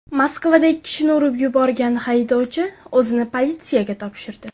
Moskvada ikki kishini urib yuborgan haydovchi o‘zini politsiyaga topshirdi.